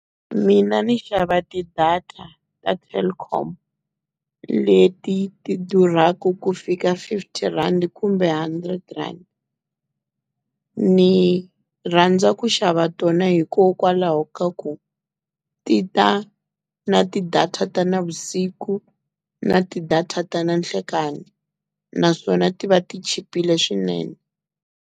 Mina ni xava ti-data ta Telkom, leti ti durhaku ku fika fifty-rand kumbe hundred rand. Ni rhandza ku xava tona hikokwalaho ka ku ti ta na ti-data ta navusiku, na ti-data ta na nhlekani, naswona ti va ti chipile swinene.